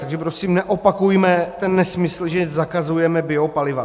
Takže prosím, neopakujme ten nesmysl, že zakazujeme biopaliva.